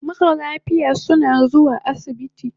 Mara lafiya suna zuwa asibiti